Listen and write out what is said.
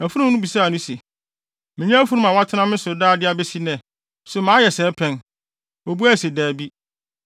Afurum no nso bisaa no se, “Menyɛ wʼafurum a woatena me so daa de abesi nnɛ? So mayɛ sɛɛ pɛn?” Obuae se, “Dabi.”